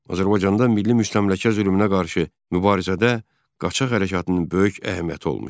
Azərbaycanda milli müstəmləkə zülmünə qarşı mübarizədə qaçaq hərəkatının böyük əhəmiyyəti olmuşdu.